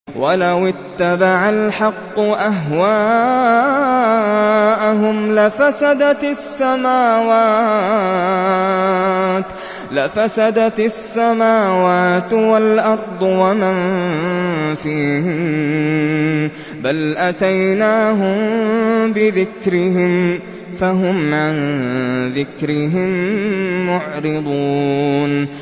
وَلَوِ اتَّبَعَ الْحَقُّ أَهْوَاءَهُمْ لَفَسَدَتِ السَّمَاوَاتُ وَالْأَرْضُ وَمَن فِيهِنَّ ۚ بَلْ أَتَيْنَاهُم بِذِكْرِهِمْ فَهُمْ عَن ذِكْرِهِم مُّعْرِضُونَ